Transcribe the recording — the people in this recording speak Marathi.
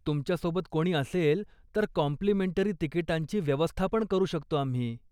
तुमच्या सोबत कोणी असेल तर कॉम्प्लिमेंटरी तिकिटांची व्यवस्थापण करू शकतो आम्ही.